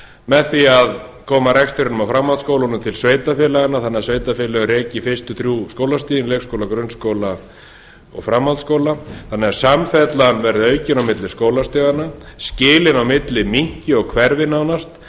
með því að koma rekstrinum á framhaldsskólunum til sveitarfélaganna þannig að sveitarfélögin reki þrjú fyrstu skólastigin leikskóla grunnskóla og framhaldsskóla þannig að samfellan verði aukin á milli skólastiganna skilin á milli minnki og hverfi nánast